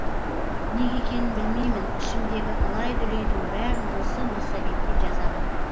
неге екенін білмеймін ішімдегі алай дүлейдің бәрін осы массагетке жазамын